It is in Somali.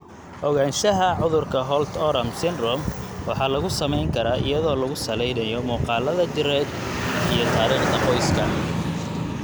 Ogaanshaha cudurka Holt Oram syndrome waxaa lagu samayn karaa iyadoo lagu salaynayo muuqaalada jireed iyo taariikhda qoyska.